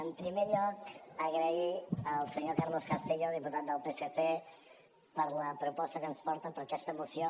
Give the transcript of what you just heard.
en primer lloc agrair al senyor carlos castillo diputat del psc per la proposta que ens porta per aquesta moció